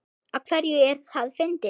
Af hverju er það fyndið?